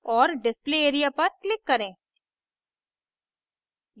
और display area पर click करें